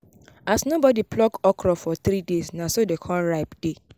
as nobody pluck okra for three days na so dey con ripe dey